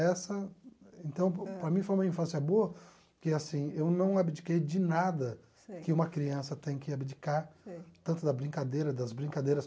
Essa, então, para mim foi uma infância boa, que assim, eu não abdiquei de nada que uma criança tem que abdicar, tanto da brincadeira, das brincadeiras.